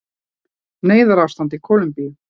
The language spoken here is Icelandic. Neyðarástand í Kólumbíu